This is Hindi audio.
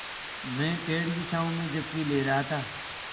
मैं पेड़ की छाँव में झपकी ले रहा था